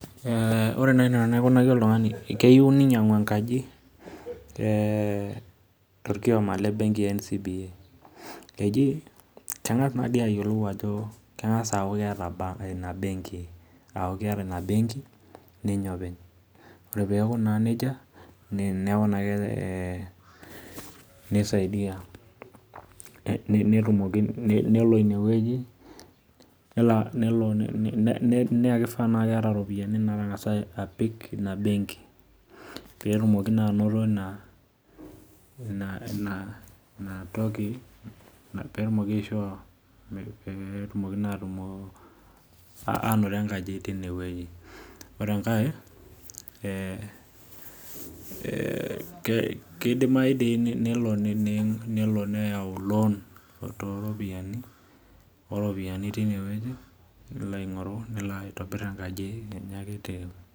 Ore naaji enaikunaki oltung'ani keyieu ninyang'u enkaji to rkiooma le benki e NCBA kengas naaidim ayieolou ajo kengas aata bank eina benki neeku kengas aaku keeta ina benki ninye openy. Ore peeku naa neija neeku naa neisadia nelo ine wueji ning'uraa tenaa keeta iropiyiani naatipika ina benki peetumoki naa aanoto enkaji tinewueji . Ore enkae, kidimayu dii nelo neyau loon oo ropiyiani teine wueji nelo aitobirr enkaji enye.